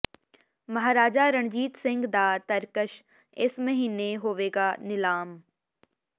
ਮਹਾਰਾਜਾ ਰਣਜੀਤ ਸਿੰਘ ਦਾ ਤਰਕਸ਼ ਇਸ ਮਹੀਨੇ ਹੋਵੇਗਾ ਨਿਲਾਮ